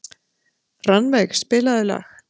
Rannveig, spilaðu lag.